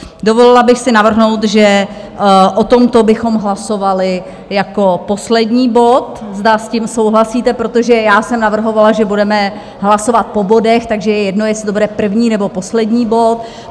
Dovolila bych si navrhnout, že o tomto bychom hlasovali jako poslední bod, zda s tím souhlasíte, protože já jsem navrhovala, že budeme hlasovat po bodech, takže je jedno, jestli to bude první, nebo poslední bod.